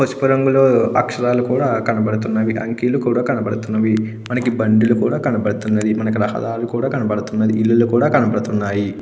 పసుపు రంగులో అక్షరాలు కూడా కనబడుతున్నది. అంకెలు కూడా కనబడుతున్నవి. మనకి బండ్లు కూడా కనపడుతున్నది. మనకి రహ దారులు కూడ కనపడుతున్నది. ఇల్లులు కూడ కనపడుతున్నాయి.